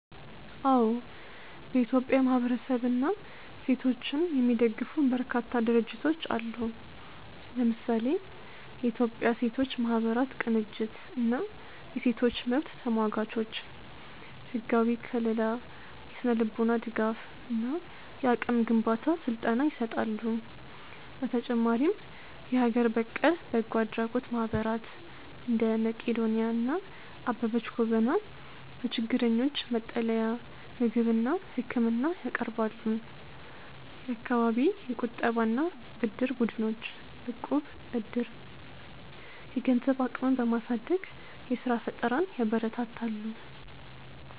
አዎ፥ በኢትዮጵያ ማህበረሰብንና ሴቶችን የሚደግፉ በርካታ ድርጅቶች አሉ። ለምሳሌ፦ የኢትዮጵያ ሴቶች ማህበራት ቅንጅት እና የሴቶች መብት ተሟጋቾች፦ ህጋዊ ከልላ፣ የስነ-ልቦና ድጋፍ እና የአቅም ግንባታ ስልጠና ይሰጣሉ። በተጨማሪም የሀገር በቀል በጎ አድራጎት ማህበራት (እንደ መቅዶንያ እና አበበች ጎበና) ለችግረኞች መጠለያ፣ ምግብና ህክምና ያቀርባሉ። የአካባቢ የቁጠባና ብድር ቡድኖች (እቁብ/ዕድር)፦ የገንዘብ አቅምን በማሳደግ የስራ ፈጠራን ያበረታታሉ።